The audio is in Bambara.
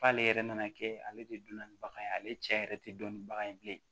K'ale yɛrɛ nana kɛ ale de dun na ni bagan ye ale cɛ yɛrɛ tɛ dɔnnibaga ye bilen